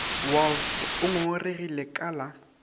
wolff o ngongoregile ka la